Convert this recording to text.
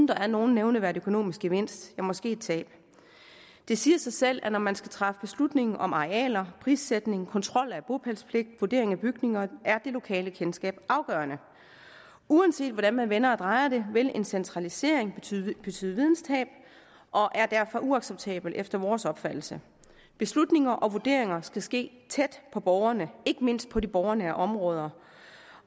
der er nogen nævneværdig økonomisk gevinst men måske et tab det siger sig selv at når man skal træffe beslutninger om arealer prissætning kontrol af bopælspligt og vurdering af bygninger så er det lokale kendskab afgørende uanset hvordan man vender og drejer det vil en centralisering betyde betyde videntab og er derfor uacceptabel efter vores opfattelse beslutninger og vurderinger skal ske tæt på borgerne ikke mindst på de borgernære områder